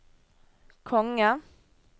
konge